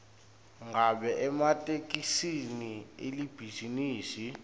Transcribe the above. ngabe ematekisi alibhizinisi